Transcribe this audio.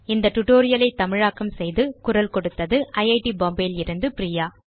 இந்த tutorial ஐ தமிழாக்கம் செய்து குரல் கொடுத்தது ஐட் பாம்பே லிருந்து பிரியா